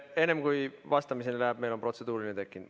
Enne kui vastamiseks läheb, on meil tekkinud protseduuriline küsimus.